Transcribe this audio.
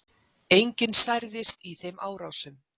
Enginn særðist í þeim árásum